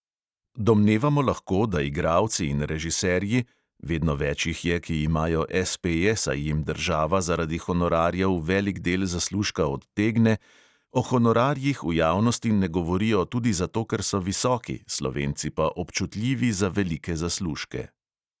Domnevamo lahko, da igralci in režiserji (vedno več jih je, ki imajo "espeje", saj jim država zaradi honorarjev velik del zaslužka odtegne) o honorarjih v javnosti ne govorijo tudi zato, ker so visoki, slovenci pa občutljivi za velike zaslužke.